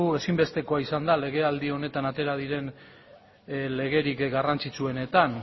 ezinbestekoa izan da legealdi honetan atera diren legerik garrantzitsuenetan